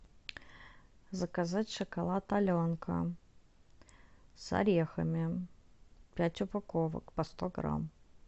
заказать шоколад аленка с орехами пять упаковок по сто грамм